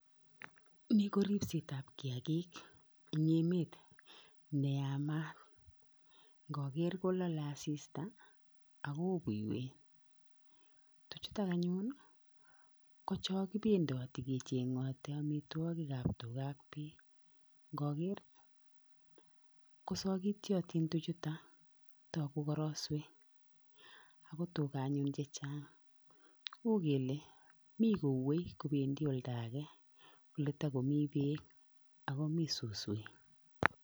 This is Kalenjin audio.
Ni ko ripsetap kiakik eng emet neyamat. Nkaker kolole asista, ak ko o kuiwet. Tuchutok anyun ko chokipendoti kecheng'oti oamitwokikap tuga ak beek ngaker, ko sokityotin tuchuto, tugu koroswek ako tuga anyun chechang. U kele mi kouei kobendi olda ake, oletakomi beek akomi suswek.